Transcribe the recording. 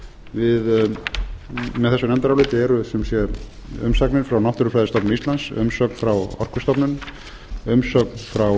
með þessu nefndaráliti eru sem sé umsagnir frá náttúrufræðistofnun íslands umsögn frá orkustofnun umsögn frá